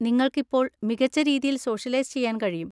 നിങ്ങൾക്ക് ഇപ്പോൾ മികച്ച രീതിയിൽ സോഷ്യലൈസ് ചെയ്യാൻ കഴിയും.